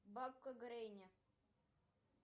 бабка гренни